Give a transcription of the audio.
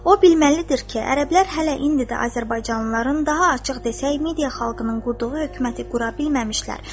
O bilməlidir ki, ərəblər hələ indi də Azərbaycanlıların, daha açıq desək, Midiya xalqının qurduğu hökuməti qura bilməmişlər.